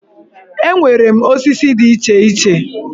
Enwere m osisi dị iche iche